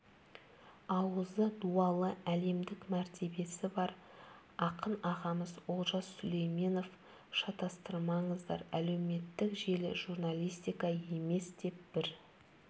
ауызы дуалы әлемдік мәртебесі бар ақын ағамыз олжас сүлейменов шатастырмаңыздар әлеуметтік желі журналистика емес деп бір